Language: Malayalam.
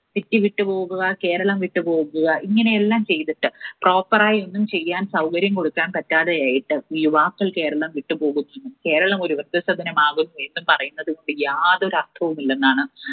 City വിട്ടു പോവുക, കേരളം വിട്ടു പോവുക, ഇങ്ങനെയെല്ലാം ചെയ്തിട്ട്, proper ആയി ഒന്നും ചെയ്യാൻ സൗകര്യം കൊടുക്കാൻ പറ്റാതെ ആയിട്ട് യുവാക്കൾ കേരളം വിട്ടുപോകുന്നു കേരളം ഒരു വൃദ്ധസദനം ആകും എന്നു പറയുന്നതുകൊണ്ട് യാതൊരു അർത്ഥവും ഇല്ലെന്നാണ്